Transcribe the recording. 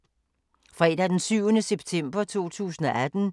Fredag d. 7. september 2018